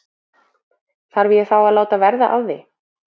Þarf ég þá að láta verða að því?